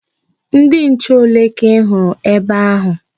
Ndị nche ole ka ị hụrụ ebe ahụ?